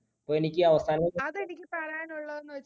അപ്പോ എനിക്ക് അവസാനമായിട്ട്